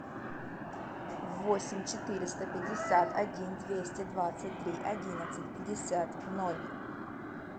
восемь четыреста пятьдесят один двести двадцать три одиннадцать пятьдесят ноль